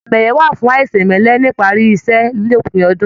Àmì ẹyẹ wà fún aisemẹlẹ nipari iṣẹ l'opin ọdún.